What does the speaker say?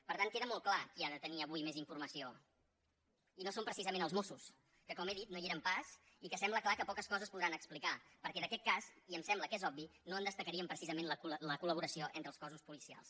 per tant queda molt clar qui ha de tenir avui més informació i no són precisament els mossos que com he dit no hi eren pas i que sembla clar que poques coses podran explicar perquè d’aquest cas i em sembla que és obvi no en destacaríem precisament la col·laboració entre els cossos policials